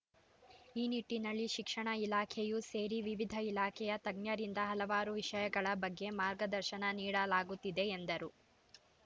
ಈ ನಿಟ್ಟಿನಲ್ಲಿ ಶಿಕ್ಷಣ ಇಲಾಖೆಯೂ ಸೇರಿ ವಿವಿಧ ಇಲಾಖೆಯ ತಜ್ಞರಿಂದ ಹಲವಾರು ವಿಷಯಗಳ ಬಗ್ಗೆ ಮಾರ್ಗದರ್ಶನ ನೀಡಲಾಗುತ್ತಿದೆ ಎಂದರು